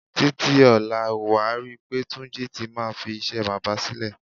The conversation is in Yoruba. Títí ò̩la, wà á ri pé Túnjí ti máa fi is̩é̩ bábà sílè̩.